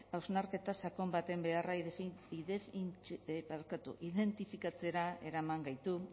hausnarketa sakon baten beharra identifikatzera eraman gaitu